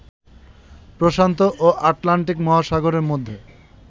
প্রশান্ত ও আটলান্টিক মহাসাগরের মধ্যে